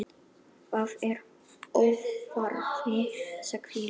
Það er óþarfi, sagði Lóa.